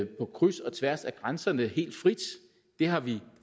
på kryds og tværs af grænserne helt frit det har vi